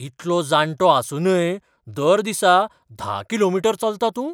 इतलो जाणटो आसूनय दर दिसा धा कि.मी. चलता तूं ?